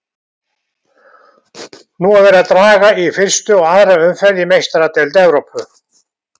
Nú er verið að draga í fyrstu og aðra umferð í Meistaradeild Evrópu.